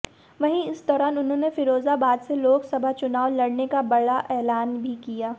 वहीं इस दौरान उन्होंने फ़िरोज़ाबाद से लोकसभा चुनाव लड़ने का बड़ा एलान भी किया